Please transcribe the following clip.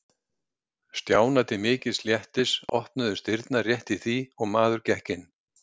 Stjána til mikils léttis opnuðust dyrnar rétt í því og maður gekk inn.